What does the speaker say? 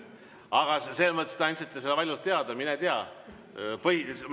Aga te andsite selle valjult teada, mine tea.